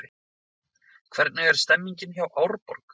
Hvernig er stemningin hjá Árborg?